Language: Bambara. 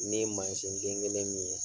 Ne ye ma mansin den kelen min ye.